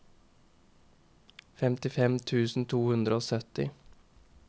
femtifem tusen to hundre og sytti